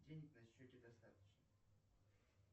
денег на счете достаточно